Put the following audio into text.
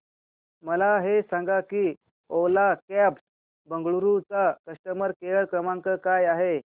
मला हे सांग की ओला कॅब्स बंगळुरू चा कस्टमर केअर क्रमांक काय आहे